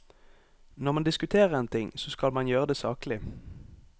Når man diskuterer en ting, så skal man gjøre det saklig.